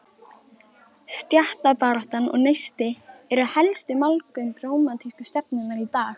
Stéttabaráttan og Neisti eru helstu málgögn rómantísku stefnunnar í dag.